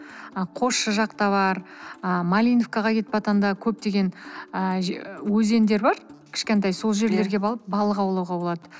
қосшы жақта бар ы малиновкаға кетып баратқанда көптеген ы өзендер бар кішкентай сол жерлерге барып балық аулауға болады